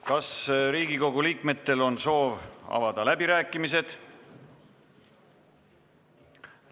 Kas Riigikogu liikmetel on soov avada läbirääkimised?